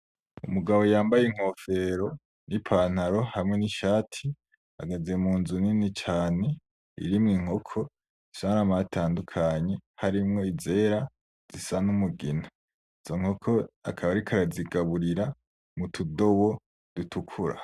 Umugabo yambaye inkofero n'ipantaro hamwe n'ishati ahagaze munzu nini cane irimwo inkoko zifise n'amabara atandukanye harimwo izera izisa n'umugina izo nkoko akaba ariko arazigaburira m'utudobo dutukura.